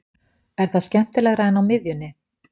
Er það skemmtilegra en á miðjunni?